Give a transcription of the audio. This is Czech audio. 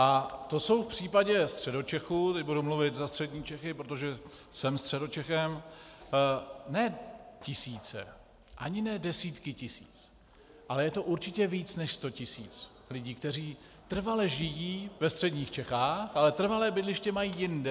A to jsou v případě Středočechů - teď budu mluvit za střední Čechy, protože jsem Středočechem - ne tisíce, ani ne desítky tisíc, ale je to určitě více než sto tisíc lidí, kteří trvale žijí ve středních Čechách, ale trvalé bydliště mají jinde.